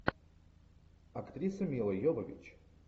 актриса мила йовович